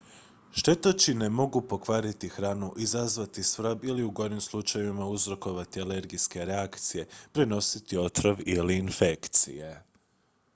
štetočine mogu pokvariti hranu izazvati svrab ili u gorim slučajevima uzrokovati alergijske reakcije prenositi otrov ili infekcije